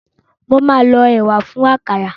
Mo máa lọ ẹ̀wà fún àkàrà.